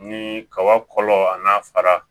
Ni kaba kɔlɔ a n'a fara